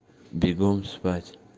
бегом спать